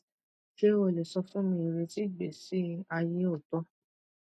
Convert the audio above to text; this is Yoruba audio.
ṣe o le sọ fun mi ireti igbesi aye ooto